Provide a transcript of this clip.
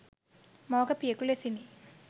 මවක පියකු ලෙසිනි.